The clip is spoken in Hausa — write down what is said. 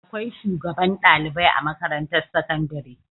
Akwai shugaban ɗalibai a makarantar sakandare.